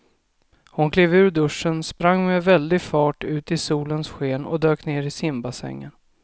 Hon klev ur duschen, sprang med väldig fart ut i solens sken och dök ner i simbassängen.